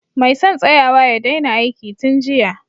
Mai son tsayawa ya daina aiki tun jiya